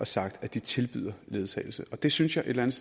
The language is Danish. sagt at de tilbyder ledsagelse det synes jeg et eller